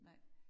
Nej